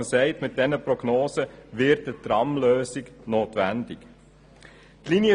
Angesichts dieser Prognosen kommt man zum Schluss, dass eine Tramlösung notwendig wird.